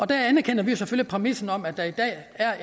der anerkender vi selvfølgelig præmissen om at der i dag er